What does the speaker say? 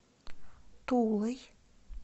тулой